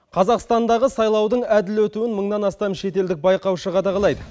қазақстандағы сайлаудың әділ өтуін мыңнан астам шетелдік байқаушы қадағалайды